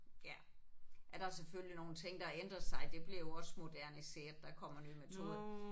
Ja er der selvfølgelig nogle ting der har ændret sig det bliver jo også moderniseret der kommer nye metoder